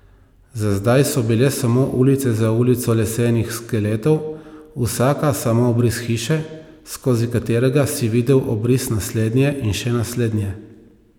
Za zdaj so bile samo ulica za ulico lesenih skeletov, vsaka samo obris hiše, skozi katerega si videl obris naslednje in še naslednje.